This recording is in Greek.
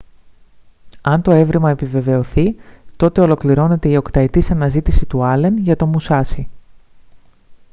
αν το εύρημα επιβεβαιωθεί τότε ολοκληρώνεται η οκταετής αναζήτηση του άλεν για το μουσάσι